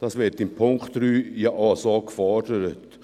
Dies wird im Punkt 3 ja auch so gefordert.